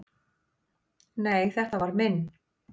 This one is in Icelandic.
"""Nei, þetta var minn"""